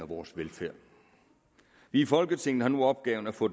vores velfærd vi i folketinget har nu opgaven at få